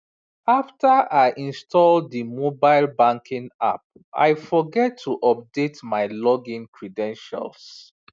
after i install the mobile banking app i forget to update my login credentials